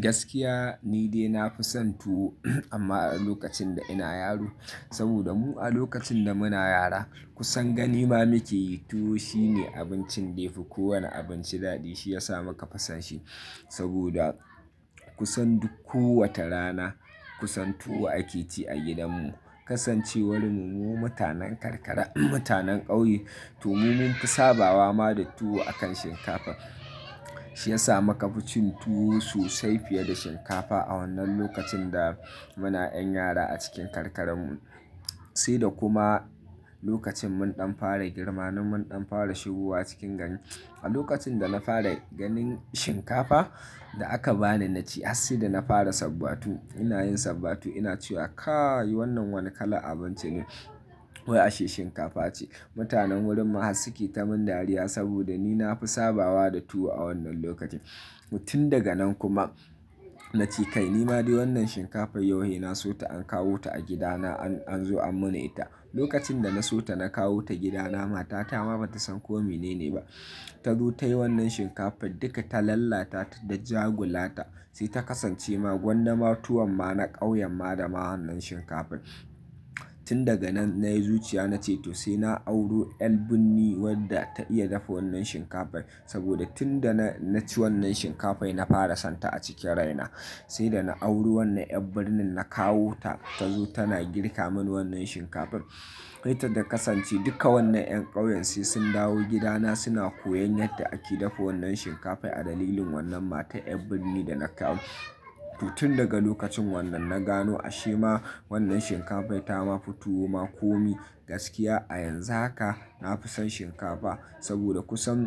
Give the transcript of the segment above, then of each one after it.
Gaskiya ni dai na fi san tuwo amma a lokacin da ina yaro. Saboda mu a lokacin da muna yara kusan gani ma muke yi tuwo shine abincin da yafi kowane abinci daɗi. Shi yasa muka fi san shi. Saboda kusan duk kowace rana kusan tuwo ake ci a gidan mu. Kasancewar mu mu mutanen karkara, mutanen ƙauye to mu mun fi sabawa ma da tuwo akan shinkafa. Shi yasa muka fi cin tuwo sosai fiye da shinkafa a wannan lokacin da muna 'yan yara a cikin karkaran mu. Sai da kuma lokacin mun ɗan fara girma, na mun ɗan fara shigowa cikin gani. A lokacin da na fara ganin shinkafa da aka bani na ci har sai da na fara sabbatu. Ina yin sabbatu ina cewa "Kai wannan wane kalan abinci ne?" Wai ashe shinkafa ce. Mutanen wurin mu haka suke ta mun dariya saboda ni na fi sabawa da tuwo a wannan lokacin. Tun daga nan kuma na ce kai ni ma dai wannan shinkafar yau he na so ta an kawo ta a gida na an zo an man ita. Lokacin da na so ta na kawo ta gida na mata ta ma bata san kome ne ba. Tazo tai wannan shinkafar duka ta lalata ta da ja gulata sai ta kasance ma gwanda ma tuwan ma na ƙauyen ma da wannan shinkafar. Tun daga nan na yi zuciya na ce to sai na auro 'yar birni wadda ta iya dafa wannan shinkafar. Saboda tun da na ci wannan shinkafar na fara son ta a cikin rai na. Sai da na auri wannan 'yar birnin na kawo ta tazo tana girka mun wannan shinkafar. Kai ta da kasance duka wannan 'yan ƙauyen sai sun dawo gida na suna koyan yadda ake dafa wannan shinkafar a dalilin wannan matar 'yar birni da na kawo. To tun daga lokacin wannan na gano ashe ma wannan shinkafar ta ma fi tuwo ma komi. Gaskiya a yanzu haka na fi son shinkafa saboda kusan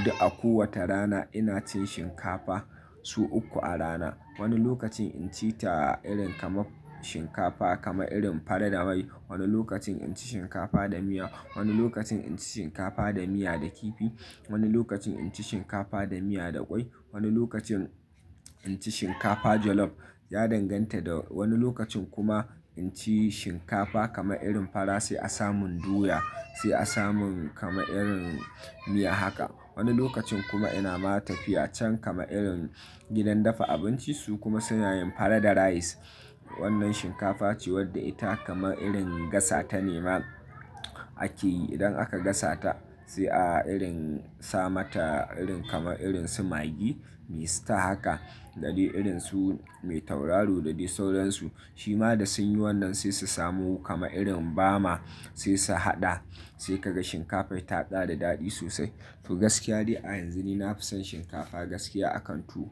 duk a kowace rana ina cin shinkafa, sau uku a rana. Wani lokacin inci ta irin kamar shinkafa kamar irin fara da mai. Wani lokacin inci shinkafa da miya. Wani lokacin inci shinkafa da miya da kifi. Wani lokacin inci shinkafa da miya da ƙwai. Wani lokacin inci shinkafa jollof, ya danganta da wani lokacin kuma inci shinkafa kama irin fara sai a samun doya, sai a samun kama irin miya haka. Wani lokacin kuma ina ma tafiya can kama irin gidan dafa abinci su kuma suna yin fara da rice. Wannan shinkafa ce wadda ita kamar irin gasa ta nema ake yi. Idan aka gasa ta sai a irin sa mata irin kamar irin su maggi me sita haka. Da dai irin su mai tauraro da dai sauran su. Shi ma da sun yi wannan sai su samu kama irin bama sai su haɗa sai ka ga shinkafar ta ɗa da daɗi sosai. To gaskiya dai a yanzu ni na fi son shinkafa gaskiya a kan tuwo.